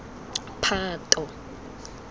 phato